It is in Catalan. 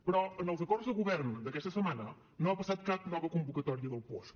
però en els acords de govern d’aquesta setmana no ha passat cap nova convocatòria del puosc